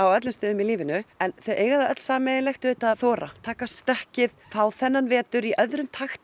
öllum stöðum í lífinu sem eiga það sameiginlegt að þora taka stökkið fá þennan vetur í öðrum takti